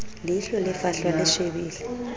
leihlo le fahlwa le shebile